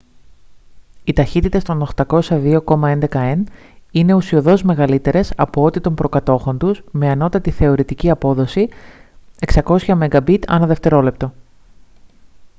οι ταχύτητες των 802,11 n είναι ουσιωδώς μεγαλύτερες από ό,τι των προκατόχων τους με ανώτατη θεωρητική απόδοση 600 mbit/δευτερόλεπτο